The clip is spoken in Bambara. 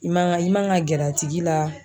I man ka, i ma kan ka gɛrɛ a tigi la.